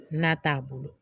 N'a t'a bolo